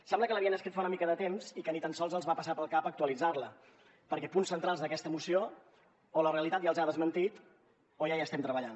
sembla que l’havien escrit fa una mica de temps i que ni tan sols els va passar pel cap actualitzar la perquè punts centrals d’aquesta moció o la realitat ja els ha desmentit o ja hi estem treballant